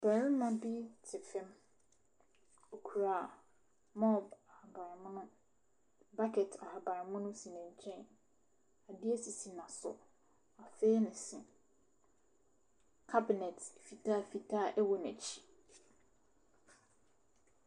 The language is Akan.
Barima bi te fam. Ɔkura mob ahabammono. Bucket ahabammono si ne nkyɛn. Adeɛ sisi n'aso. Wafee ne se. cabinet fitafita a ɛwɔ n'akyi.